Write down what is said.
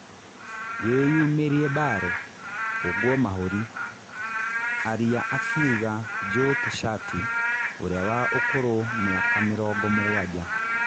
" Wĩyumĩrie Mbare, hũngwo mahũri, aria," akiuga Joe Tishati ũrĩa wa ũkũrũ mĩaka mĩrongo-mũgwanja.